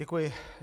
Děkuji.